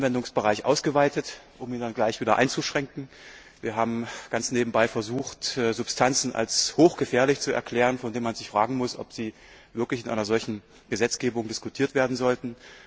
Wir haben den Anwendungsbereich ausgeweitet, um ihn dann gleich wieder einzuschränken. Wir haben ganz nebenbei versucht, Substanzen als hochgefährlich zu erklären, bei denen man sich fragen muss, ob sie wirklich in einer solchen Gesetzgebung diskutiert werden sollten.